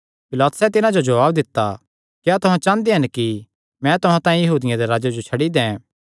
पिलातुसैं तिन्हां जो जवाब दित्ता क्या तुहां चांह़दे हन कि मैं तुहां तांई यहूदियां दे राजे जो छड्डी दैं